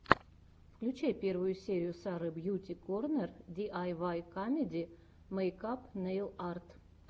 включай первую серию сары бьюти корнер ди ай вай камеди мейкап нейл арт